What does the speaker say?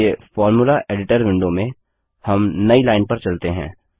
चलिए formula editor window में हम नई लाइन पर चलते हैं